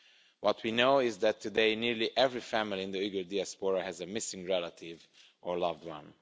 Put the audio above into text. What we know is that today nearly every family in the Uyghur diaspora has a missing relative or loved one.